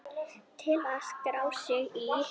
Til að skrá sig í